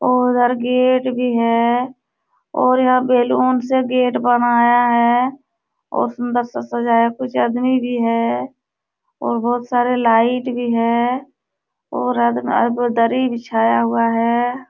और उधर गेट भी है और यह बैलून से गेट बनाया है और सुन्दर सा सजाया कुछ अदमी भी है और बहोत सारे लाइट भी है और अदम आ दरी बिछाया हुआ है।